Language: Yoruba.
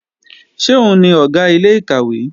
Ṣé òun ni Ọ̀gá ilé-ìkàwé?